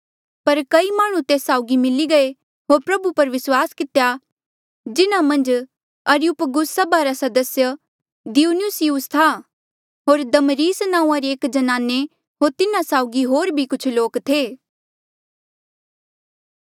पर कई माह्णुं तेस साउगी मिली गये होर प्रभु पर विस्वास कितेया जिन्हा मन्झ अरियुपगुस सभा रा सदस्य दियुनुसियुस था होर दमरिस नांऊँआं री एक ज्नाने होर तिन्हा साउगी होर भी कुछ लोक थे